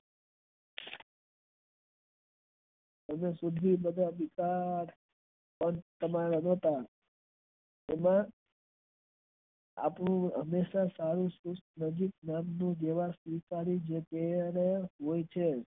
એમાં આપણું હંમેશા દેવાં આ આવતું